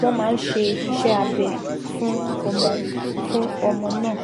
wọ́n máa ṣe iṣẹ́ abẹ fún ọmọ fún ọmọ náà